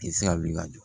I tɛ se ka wuli ka jɔ